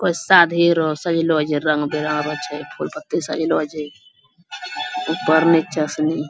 कोय शादी रो सजलो छै रंग-बिरंग रो छै फुल-पत्ती सजलो छै ऊपर-नीचा से नी --